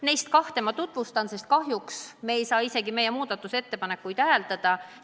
Neist kahte ma tutvustan, sest kahjuks me ei saa isegi meie muudatusettepanekuid hääletada.